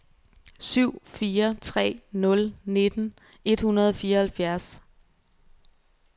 syv fire tre nul nitten et hundrede og fireoghalvfjerds